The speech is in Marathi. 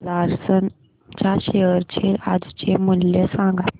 लार्सन च्या शेअर चे आजचे मूल्य सांगा